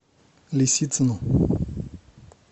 лисицину